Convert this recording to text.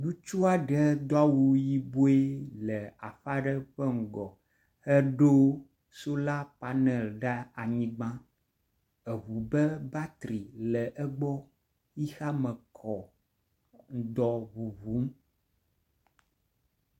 Ŋutsu aɖe do awu yibɔe le aƒe aɖe ƒe ŋgɔ eɖo sola panel ɖe anyigba. Eŋu ƒe batri le egbɔ xexeame kɔ ŋdɔ ŋuŋum.